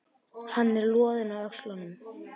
Hann er loðinn á öxlunum.